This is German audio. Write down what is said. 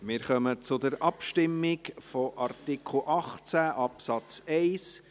Wir kommen zur Abstimmung über Artikel 18 Absatz 1.